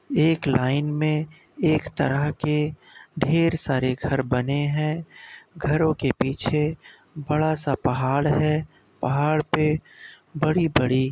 एक लाइन में एक तरह के ढेर सारे घर बने हैं। घरों के पीछे बड़ा सा पहाड़ है। पहाड़ पे बड़ी-बड़ी --